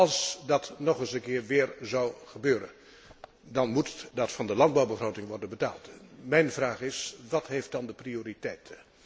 Als dat weer eens zou gebeuren, dan moet dat uit de landbouwbegroting worden betaald. Mijn vraag is wat heeft dan de prioriteit?